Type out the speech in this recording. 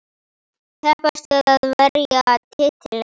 Keppast við að verja titilinn.